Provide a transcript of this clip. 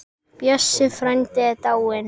Bjössi frændi er dáinn.